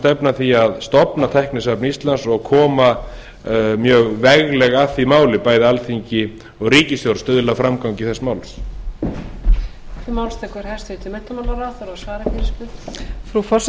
stefna að því að stofna tæknisafn íslands og koma mjög veglega að því máli bæði alþingi og ríkisstjórn og stuðla að framgangi þess